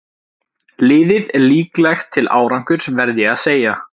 Liðið er líklegt til árangurs verð ég að segja.